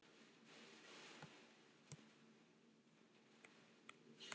en þar var fremur lítið landrými.